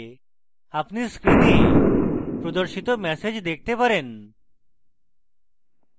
আপনি screen প্রদর্শিত message দেখতে পারেন